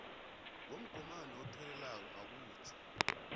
komgomani othuwelelako akutjho